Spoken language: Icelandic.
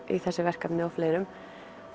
í þessu verkefni og fleirum